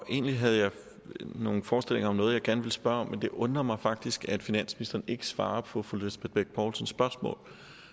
egentlig havde jeg nogle forestillinger om noget jeg gerne ville spørge om men det undrer mig faktisk at finansministeren ikke svarer på fru lisbeth bech poulsens spørgsmål